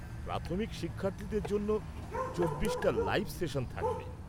প্রাথমিক শিক্ষার্থীদের জন্য ২৪টা লাইভ সেশন থাকবে।